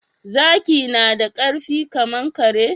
Zaki nada karfi kaman kare?